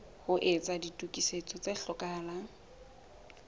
ho etsa ditokiso tse hlokahalang